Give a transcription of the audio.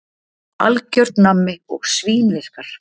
Algjört nammi og svínvirkar.